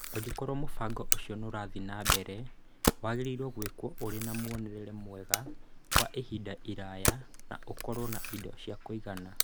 Angĩkorũo mũbango ũcio nĩ ũrathiĩ na mbere, wagĩrĩirũo gwĩkwo ũrĩ na muonere mwega wa ihinda iraya na ũkorũo na indo cia kũigana.